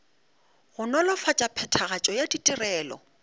go nolofatša phethagatšo ya ditirelo